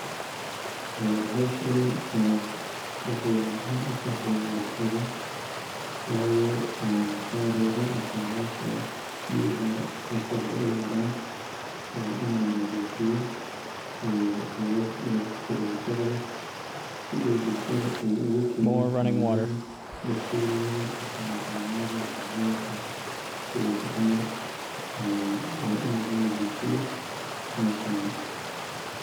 Ee howshani ee waxay muhiim utahay bulshada wayo en mataroga mise mesha biyaha wasaqda ay maran waa in nadiifo oo laga guro wasaqda si ay bulshada ogu keenin xanuunada bakteriyada mise xanuunada daacunka sidaasi camal waa ee in laga nadiifiyo meshani